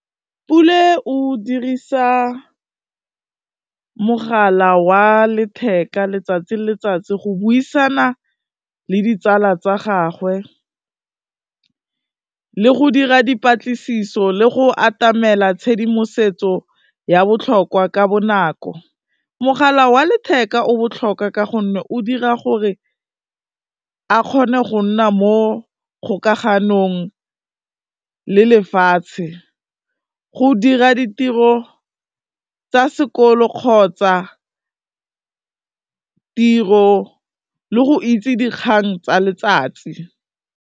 Pule o dirisa mogala wa letheka letsatsi le letsatsi go buisana le ditsala tsa gagwe le go dira dipatlisiso, le go atamela tshedimosetso ya botlhokwa ka bonako. Mogala wa letheka o botlhoka ka gonne, o dira gore a kgone go nna mo kgolaganong le lefatshe, go dira ditiro tsa sekolo kgotsa tiro, le go itse dikgang tsa letsatsi.